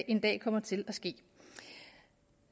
en dag kommer til at ske